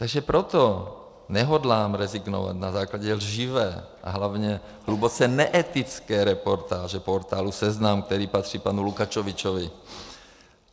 Takže proto nehodlám rezignovat na základě lživé a hlavně hluboce neetické reportáže portálu Seznam, který patří panu Lukačovičovi.